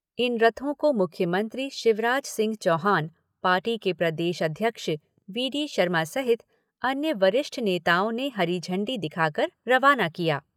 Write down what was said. इन रथों को मुख्यमंत्री शिवराज सिंह चौहान, पार्टी के प्रदेश अध्यक्ष वी डी शर्मा सहित अन्य वरिष्ठ नेताओं ने हरी झंडी दिखाकर रवाना किया।